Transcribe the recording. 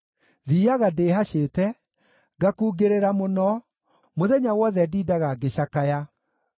Thiiaga ndĩĩhacĩte, ngakungĩrĩra mũno, mũthenya wothe ndindaga ngĩcakaya.